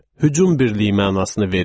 Hücum birliyi mənasını verir.